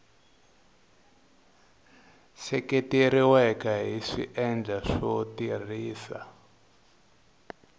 seketeriweke hi swiendlo swo tirhisa